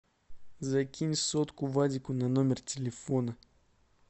закинь сотку вадику на номер телефона